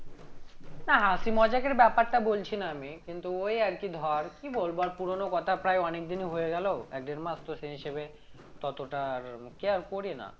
না হাসি মজাকের ব্যাপারটা বলছিনা আমি কিন্তু ওই আরকি ধর কি বলবো আর পুরোনো কথা প্রায় অনেকদিনই হয়ে গেলো এক দেড় মাস তো সেই হিসেবে ততটা আর care করি না